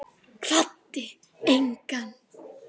Kvaddi engan.